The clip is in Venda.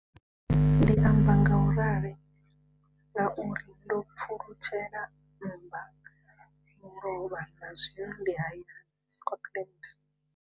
Ndi amba ngauralo nga uri ndo pfulutshela mmba mulovha na zwino ndi hayani, Scotland.